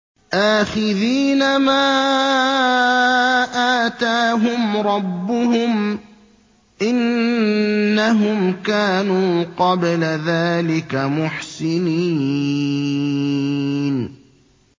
آخِذِينَ مَا آتَاهُمْ رَبُّهُمْ ۚ إِنَّهُمْ كَانُوا قَبْلَ ذَٰلِكَ مُحْسِنِينَ